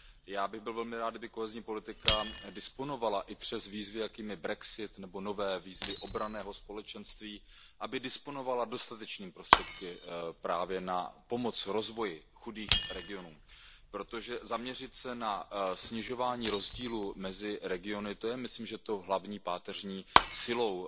Já bych byl velmi rád, kdyby kohezní politika disponovala, i přes výzvy, jakými jsou brexit nebo nové výzvy obranného společenství, dostatečnými prostředky právě na pomoc rozvoji chudých regionů, protože zaměřit se na snižování rozdílu mezi regiony, to je myslím, že tou hlavní páteřní silou